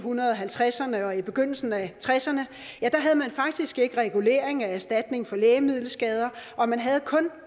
halvtredserne og i begyndelsen af tresserne havde man faktisk ikke regulering af erstatning for lægemiddelskader og man havde kun